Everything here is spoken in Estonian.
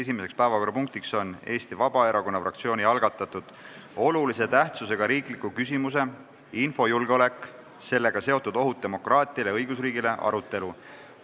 Esimene päevakorrapunkt on Eesti Vabaerakonna fraktsiooni algatatud olulise tähtsusega riikliku küsimuse "Infojulgeolek, sellega seotud ohud demokraatiale ja õigusriigile" arutelu.